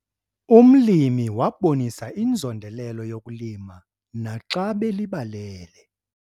Umlimi wabonisa inzondelelo yokulima naxa belibalele.